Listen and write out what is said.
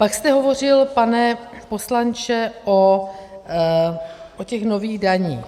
Pak jste hovořil, pane poslanče, o těch nových daních.